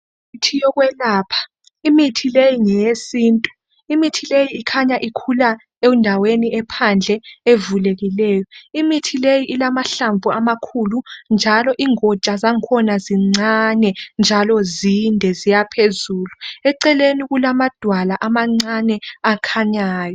Imithi yokwelapha , imithi le ngeyesintu , imithi le ikhanya ikhula endaweni ephandle evulekileyo , imithi le ilamahlamvu amakhulu njalo ingotsha zakhona zincane njalo zinde ukuyaphezulu , emaceleni kulamadwala amancane akhanyayo